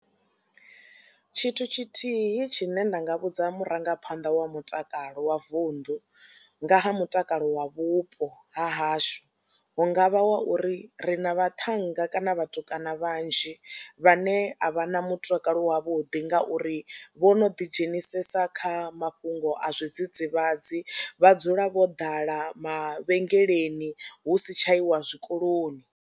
Tshithu tshithihi tshine nda nga vhudza murangaphanḓa wa mutakalo wa vunḓu nga ha mutakalo wa vhupo ha hashu hu nga vha wa uri ri na vhaṱhannga kana vhatukana vha vhanzhi vhane a vha na mutakalo wavhuḓi ngauri vho no ḓidzhenisa kha mafhungo a zwidzidzivhadzi, vha dzula vho ḓala mavhengeleni hu si tsha iwa zwikoloni.